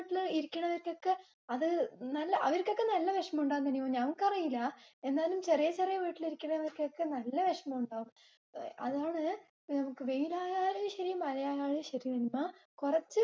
വീട്ടില് ഇരിക്കുന്നവർക്കൊക്കെ അത് നല്ലഅവർക്കൊക്കെ നല്ല വിഷമംണ്ടാവില്ലേ നിനിമാ. ഞങ്ങൾക്കറിയില്ല. എന്നാലും ചെറിയ ചെറിയ വീട്ടിലിരിക്കണവർക്കൊക്കെ നല്ല വിഷമം ഉണ്ടാവും. അതാണ് നമ്മക്ക് വെയിലായാലും ശെരി മഴയായാലും ശെരി നിമ്മ കുറച്ച